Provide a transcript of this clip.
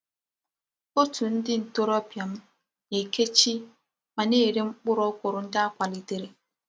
Otu ndi ntorobia m na-ékèchi ma na-ere mkpuru okwuru ndi a kwalitere.